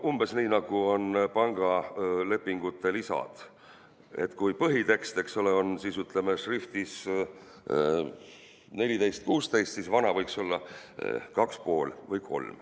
Umbes nii, nagu on pangalepingute lisad, et kui põhitekst on šriftis 14–16, siis "vana" võiks olla šriftis 2,5 või 3.